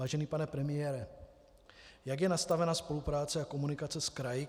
Vážený pane premiére, jak je nastavena spolupráce a komunikace s kraji?